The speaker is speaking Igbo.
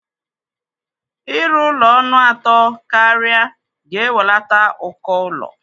Ịrụ ụlọ ọnụ atọ karịa ga-ewelata ụkọ ụlọ.